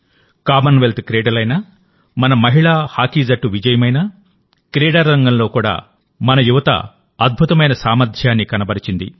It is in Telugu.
కామన్వెల్త్ క్రీడలైనా మన మహిళా హాకీ జట్టు విజయమైనా క్రీడా రంగంలో కూడా మన యువత అద్భుతమైన సామర్థ్యాన్ని కనబరిచింది